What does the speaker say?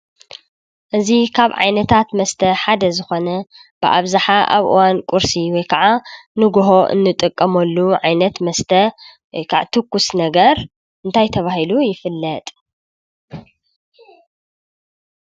እዚ ካብ ዓይነታት መስተ ሓደ ዝኾነ ብኣብዛሓ ኣብ እዋን ቁርሲ ወይ ካዓ ንጉሆ እንጥቀመሉ ዓይነት መስተ ወይ ካዓ ትኩስ ነገር እንታይ ተባሂሉ ይፍለጥ?